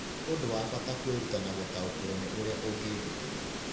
Nĩ ũndũ wa bata kwĩruta na gũtaũkĩrũo nĩ ũrĩa ũngĩĩgitĩra.